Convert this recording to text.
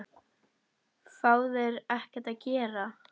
Fá þeir þá ekkert að gera?